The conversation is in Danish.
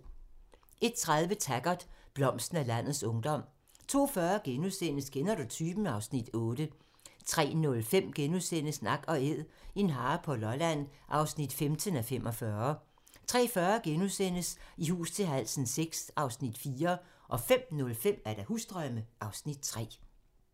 01:30: Taggart: Blomsten af landets ungdom 02:40: Kender du typen? (Afs. 8)* 03:05: Nak & Æd - en hare på Lolland (15:45)* 03:40: I hus til halsen VI (Afs. 4)* 05:05: Husdrømme (Afs. 3)